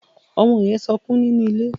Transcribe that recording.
Ọmọ yín sọkún nínú ilé.